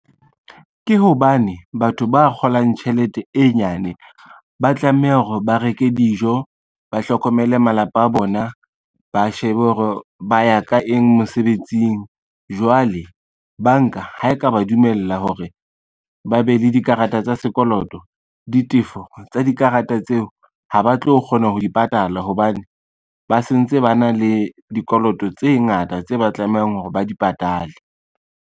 Ke hobane batho ba kgolang tjhelete e nyane, ba tlameha hore ba reke dijo, ba hlokomele malapa a bona, ba shebe hore ba ya ka eng mosebetsing. Jwale banka ha e ka ba dumella hore ba be le dikarata tsa sekoloto, ditefo tsa dikarata tseo ha ba tlo kgona ho di patala hobane ba sentse ba na le dikoloto tse ngata tse ba tlamehang hore ba di patale.